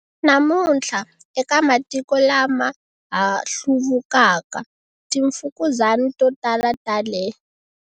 Namuntlha, eka matiko lama ha hluvukaka, timfukuzani to tala ta le.